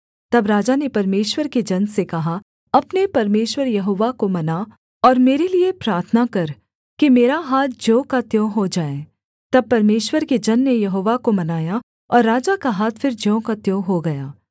तब राजा ने परमेश्वर के जन से कहा अपने परमेश्वर यहोवा को मना और मेरे लिये प्रार्थना कर कि मेरा हाथ ज्यों का त्यों हो जाए तब परमेश्वर के जन ने यहोवा को मनाया और राजा का हाथ फिर ज्यों का त्यों हो गया